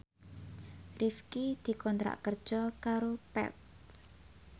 Rifqi dikontrak kerja karo Path